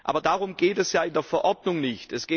Aber darum geht es ja in der Verordnung nicht.